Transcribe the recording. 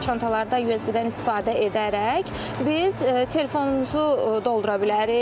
Çantalarda USB-dən istifadə edərək biz telefonumuzu doldura bilərik.